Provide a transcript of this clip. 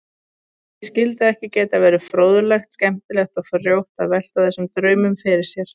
Því skyldi ekki geta verið fróðlegt, skemmtilegt og frjótt að velta þessum draumum fyrir sér?